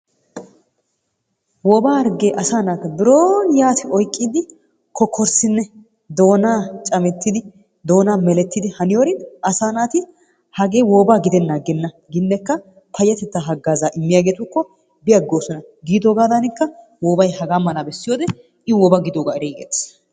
Wobaa harggee asaa naata biroon yatti oyqqiidi kokorssinne doonaa camettidi doonaa melettidi haniyoorin asaa naati hagee wobaa gidennan agenna ginekka payyatettaa hagaazaa immiyageetukko bi aggosonana. Giidogaadanikka woobay hagaa mala bessiyode i wooba gidiyoogaa eriigettees.